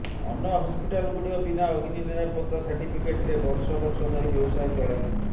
ଅନ୍ୟ ହସ୍ପିଟାଲଗୁଡ଼ିକ ବିନା ଅଗ୍ନି ନିରାପତ୍ତା ସାର୍ଟିଫିକେଟ୍ରେ ବର୍ଷ ବର୍ଷ ଧରି ବ୍ୟବସାୟ ଚଳାଇଛନ୍ତି